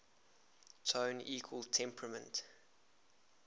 tone equal temperament